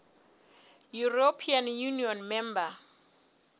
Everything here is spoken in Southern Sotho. european union member